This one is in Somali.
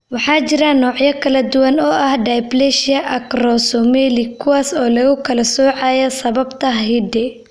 Waxaa jira noocyo kala duwan oo ah dysplasia acromesomelic, kuwaas oo lagu kala soocayo sababta hidde.